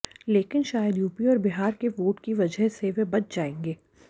लेकिन शायद यूपी और बिहार के वोट की वजह से वे बच जाएंगे